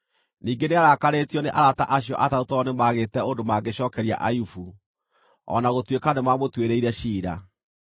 Ningĩ nĩarakarĩtio nĩ arata acio atatũ tondũ nĩmagĩte ũndũ mangĩcookeria Ayubu, o na gũtuĩka nĩmamũtuĩrĩire ciira.